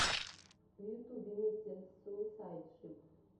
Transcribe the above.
в ютубе мистер суисайд шип